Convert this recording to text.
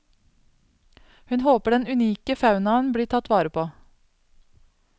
Hun håper den unike faunaen blir tatt vare på.